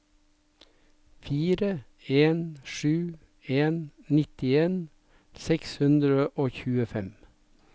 fire en sju en nittien seks hundre og tjuefem